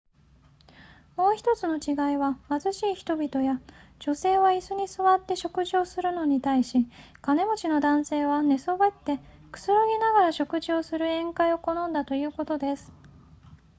もう1つの違いは貧しい人々や女性は椅子に座って食事をするのに対し金持ちの男性は寝そべってくつろぎながら食事をする宴会を好んだということです